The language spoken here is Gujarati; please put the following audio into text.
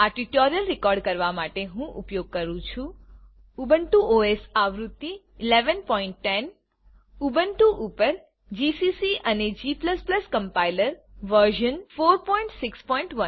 આ ટ્યુટોરીયલ રેકોર્ડ કરવા માટે હું ઉપયોગ કરું છું ઉબુન્ટુ ઓએસ આવૃત્તિ 1110 ઉબુન્ટુ ઉપર જીસીસી અને g કમ્પાઈલર વી461